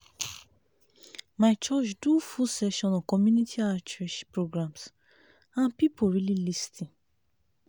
my church do full session on community outreach programs and people really lis ten.